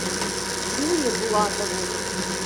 дрюне булатову